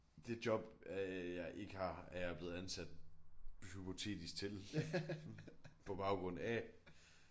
Det job øh jeg ikke har er jeg blevet ansat hypotetisk til på baggrund af